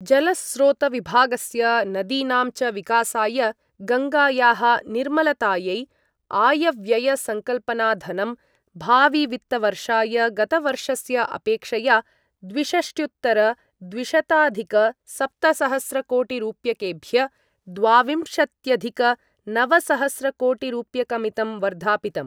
जलस्रोतविभागस्य नदीनां च विकासाय गङ्गायाः निर्मलतायै आयव्ययसङ्कल्पनाधनं भाविवित्तवर्षाय गतवर्षस्य अपेक्षया द्विषष्ट्युत्तरद्विशताधिकसप्तसहस्रकोटिरुप्यकेभ्य द्वाविंशत्यधिकनवसहस्रकोटिरुप्यकमितं वर्धापितम्।